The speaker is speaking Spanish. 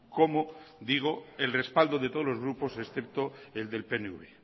como digo el respaldo de todos los grupos excepto el del pnv